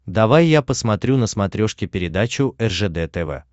давай я посмотрю на смотрешке передачу ржд тв